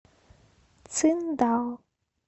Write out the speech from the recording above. циндао